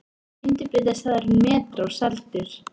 Skyndibitastaðurinn Metró seldur